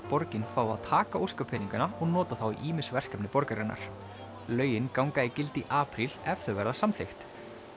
borgin fái að taka óskapeningana og nota þá í ýmis verkefni borgarinnar lögin ganga í gildi í apríl ef þau verða samþykkt